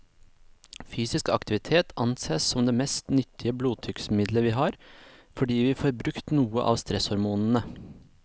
Fysisk aktivitet ansees som det mest nyttige blodtrykksmiddelet vi har, fordi vi får brukt noe av stresshormonene.